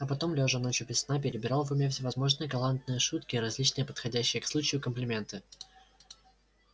а потом лёжа ночью без сна перебирал в уме всевозможные галантные шутки и различные подходящие к случаю комплименты